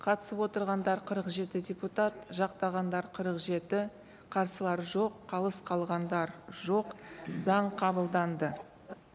қатысып отырғандар қырық жеті депутат жақтағандар қырық жеті қарсылар жоқ қалыс қалғандар жоқ заң қабылданды